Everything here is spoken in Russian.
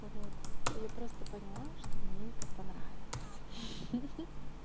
вот я просто поняла что мне это понравилось хи-хи